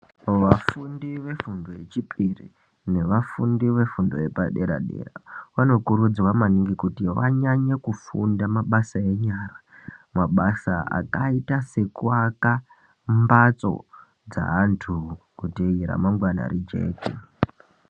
Vafundi vefundo yechipiri, nevafundi vefundo yepaderadera vanokurudzirwa maningi kufunda mabasa enyara. Mabasa akaita sekuaka mbatso dzeanthu kuti ramangwana rijeke.